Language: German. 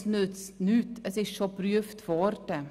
Das nützt nichts, denn es wurde bereits geprüft.